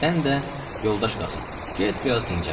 Sən də, yoldaş Qasım, get biraz dincəl.